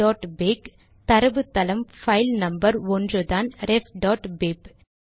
refபிப் தரவுத்தளம் file number 1 தான் refபிப்